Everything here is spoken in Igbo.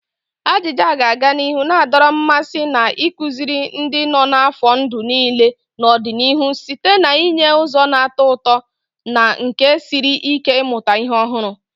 Ajija ga-aga n'ihu na-adọrọ mmasị na ịkụziri ndị nọ n'afọ ndụ niile n'ọdịnihu site n'inye ụzọ na-atọ ụtọ na nke siri ike ịmụta ihe ọhụrụ.